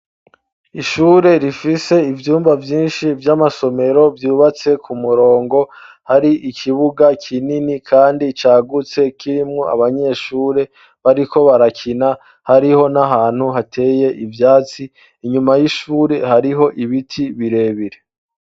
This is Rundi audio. Ishure rifise ivyumba vyinshi vy'amasomero vyubatse ku murongo. Hari ikibuga kinini kandi cagutse kirimwo abanyeshure bariko barakina, hariho n'ahantu hateye ivyatsi, inyuma y'ishure hariho ibiti birebire.